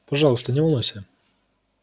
пожалуйста не волнуйся